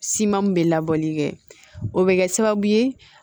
Siman min bɛ labɔli kɛ o bɛ kɛ sababu ye